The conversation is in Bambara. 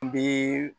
N bɛ